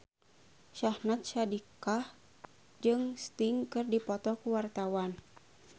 Syahnaz Sadiqah jeung Sting keur dipoto ku wartawan